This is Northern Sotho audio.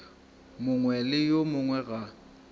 mongwe le yo mongwe ga